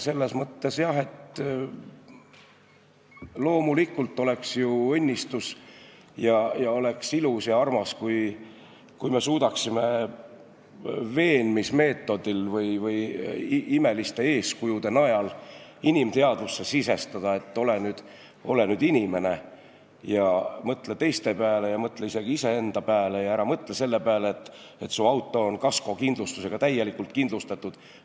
Selles mõttes jah, loomulikult oleks ju õnnistus ja oleks ilus ja armas, kui me suudaksime veenmismeetodil või imeliste eeskujude najal inimteadvusesse sisestada, et ole nüüd inimene ja mõtle teiste pääle, mõtle isegi iseenda pääle ja ära mõtle selle pääle, et su auto on kaskokindlustusega täielikult kindlustatud.